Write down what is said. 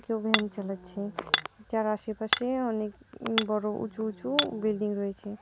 কেউ ভ্যান চালাচ্ছে। যার আশেপাশে অনেক বড়ো উঁচু উঁচু বিল্ডিং রয়েছে ।